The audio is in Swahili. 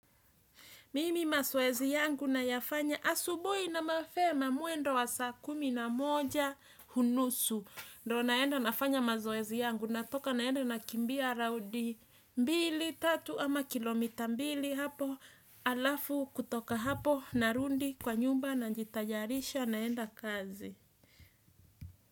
Mimi mazoezi yangu nayafanya asubuhi na mapema mwendo wa saa kumi na moja u nusu. Ndiyo naenda nafanya mazoezi yangu. Natoka naenda nakimbia raundi mbili, tatu ama kilomita mbili hapo. Halafu kutoka hapo, narudi kwa nyumba, najitayarisha naenda kazi.